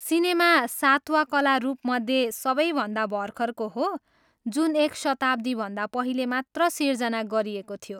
Cinema सातवा कला रूपमध्ये सबैभन्दा भर्खरको हो, जुन एक शताब्दीभन्दा पहिले मात्र सिर्जना गरिएको थियो।